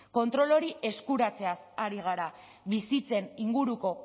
kontrol hori eskuratzeaz ari gara bizitzen inguruko